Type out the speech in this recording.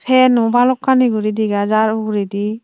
febo bhalokkani guri dega jar uguredi.